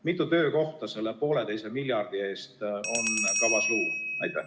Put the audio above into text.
Mitu töökohta selle pooleteise miljardi eest on kavas luua?